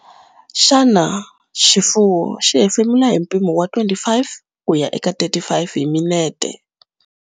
Xana xifuwo xi hefemula hi mpimo wa 25 kuya eka 35 hi minute?